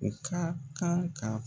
U ka kan ka